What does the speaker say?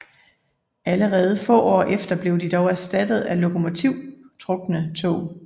Allerede få år efter blev de dog erstattet af lokomotivtrukne tog